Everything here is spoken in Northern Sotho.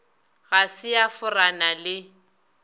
ga se a forana le